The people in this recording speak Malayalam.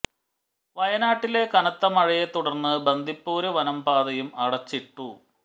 വയനാട്ടിലെ കനത്ത മഴയെ തുടര്ന്ന് ബന്ദിപ്പൂര് വനം പാതയും അടച്ചിട്ടു